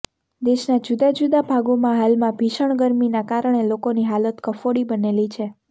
દેશના જુદા જુદા ભાગોમાં હાલમાં ભીષણ ગરમીના કારણે લોકોની હાલત કફોડી બનેલી છે